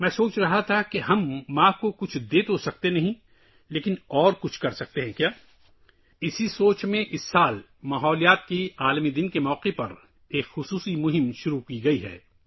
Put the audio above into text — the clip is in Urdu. میں سوچ رہا تھا کہ ہم ماں کو تو کچھ نہیں دے سکتے لیکن کیا کچھ اور کر سکتے ہیں؟ اسی بات کو ذہن میں رکھتے ہوئے اس سال عالمی یوم ماحولیات کے موقع پر ایک خصوصی مہم شروع کی گئی ہے